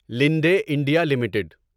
لنڈے India limited